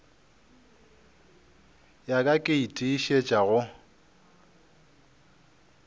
ya ka ke tiišetša go